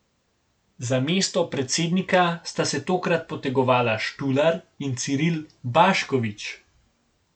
Za mesto predsednika sta se takrat potegovala Štular in Ciril Baškovič.